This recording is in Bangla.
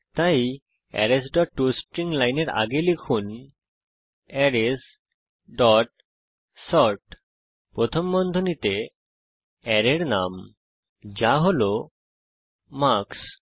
তাই অ্যারেস ডট টস্ট্রিং লাইনের আগে লিখুন অ্যারেস ডট সর্ট প্রথম বন্ধনীতে অ্যারের নাম যা হল মার্কস